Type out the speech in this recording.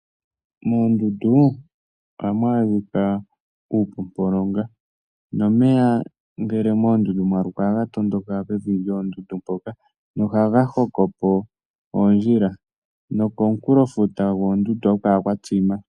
Moondundu ohamu adhika uupopolonga, nomeya ohaga tondoka pevi lyoondundu mpoka nohaga hoko po oondjila, nokomukulo gwoondundu ohaku kala kwa tsima.